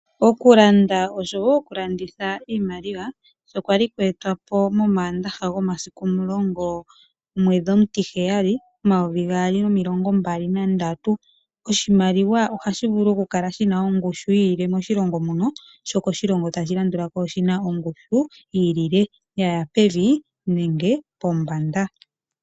Okulanda osho wo okulanditha iimaliwa, sho kwali kwa etwa po momaandaha gomasiku omulongo, omwedhi omutiheyali , omayovi gaali nomilongo mbali nandatu, oshimaliwa ohashi vulu oku kala shi na ongushu yi ilile moshilongo mono , sho koshilongo tashi landulako oshi na ongushu yi ilile ya ya pevi nenge pombanda.